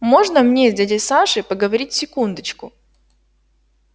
можно мне с дядей сашей поговорить секундочку